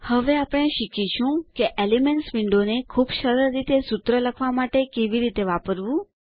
હવે આપણે શીખીશું કે એલિમેન્ટ્સ વિન્ડો ને ખૂબ સરળ રીતે સૂત્ર લખવા માટે કેવી રીતે વાપરવું